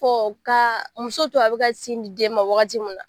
ka muso to a be ka sin di den ma wagati min na